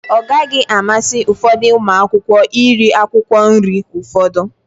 Ọ gaghi amasi ufodu umuaka iri akwụkwọ nri ufodu.